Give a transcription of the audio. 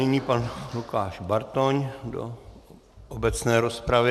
Nyní pan Lukáš Bartoň do obecné rozpravy.